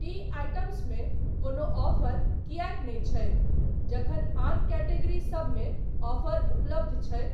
T items मे कोनो offer किएक नहि छै जखन आन कैटेगरीसब मे ऑफर उपलब्ध छै ?